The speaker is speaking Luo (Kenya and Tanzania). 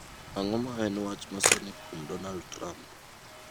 Ang'o ma en wach masani kuom donald trump